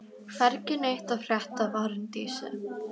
Hvergi neitt að frétta af Arndísi.